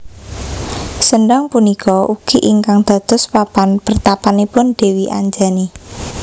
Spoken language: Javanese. Sendhang punika ugi ingkang dados papan pertapanipun Dewi Anjani